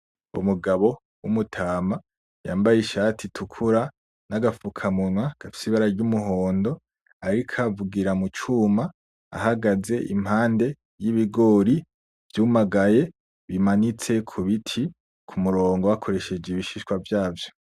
Umugabo w’umutama yambaye ishati itukura n’agafukamunwa gafise ibara ry’umuhondo, ariko avugira mu cuma ahagaze impande y’ibigori vyumagaye bimanitse ku biti ku murongo bakoresheje ibishishwa vyavyo.